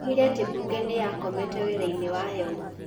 Oigire atĩ mbunge nĩ yakomete wĩra-inĩ wayo.